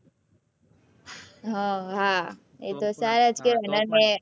હ હા અ તો સારા જ કેહવાય